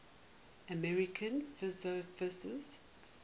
american philosophers